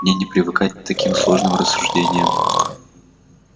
мне не привыкать к таким сложным рассуждениям